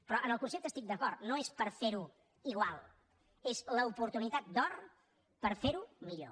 però en el concepte estic d’acord no és per ferho igual és l’oportunitat d’or per ferho millor